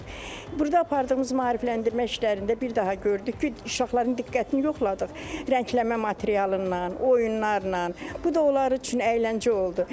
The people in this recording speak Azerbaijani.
Burda apardığımız maarifləndirmə işlərində bir daha gördük ki, uşaqların diqqətini yoxladıq, rəngləmə materialından, oyunlarla, bu da onlar üçün əyləncə oldu.